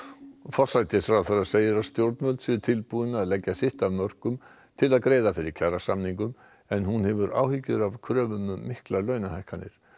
forsætisráðherra segir að stjórnvöld séu tilbúin að leggja sitt af mörkum til að greiða fyrir kjarasamningum en hefur áhyggjur af kröfum um miklar launahækkanir